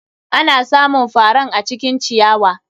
Ana samun faran acikin ciyawa.